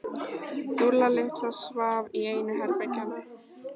Dúlla litla svaf í einu herbergjanna.